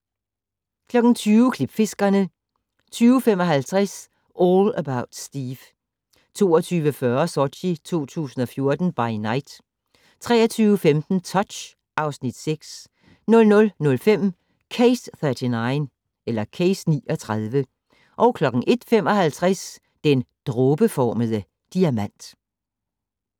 20:00: Klipfiskerne 20:55: All About Steve 22:40: Sochi 2014 by Night 23:15: Touch (Afs. 6) 00:05: Case 39 01:55: Den dråbeformede diamant